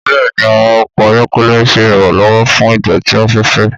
Bẹ́ẹ̀ni, àwọn ọkọ̀ ayọ́kẹ́lẹ́ ń ṣe ìrànlọ́wọ́ fún ìdọ̀tí afẹ́fẹ